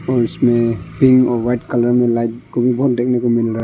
और इसमें पिंक और व्हाइट कलर में लाइट को भी बहोत देखने को मिल रहा--